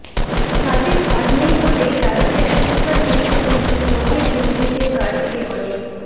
তাতে খাদ নেই বলেই রাজ্যের এখনকার মুখ্যমন্ত্রী নোবেল অভিজিতের কাজকে অনেক